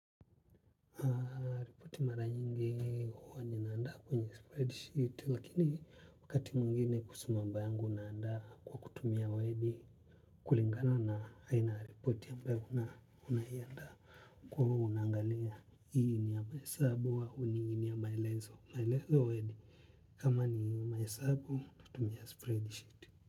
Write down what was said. Wakati mara nyingi huwa ninaanda kwenye spread sheet lakini wakati mwingine kuhusu mambo yangu naandaa kwa kutumia word kulingana na aina ya ripoti ambayo unaiandaa kwa hiyo unaangalia hii ni ya mahesabu au ni maelezo maelezo word kama ni mahesabu hutumia spread sheet.